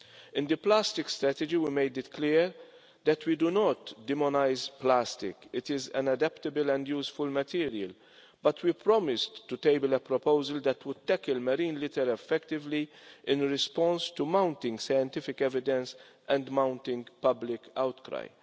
In the plastics strategy, we made it clear that we do not demonise plastic it is an adaptable and useful material but we promised to table a proposal that would tackle marine litter effectively in response to mounting scientific evidence and mounting public outcry.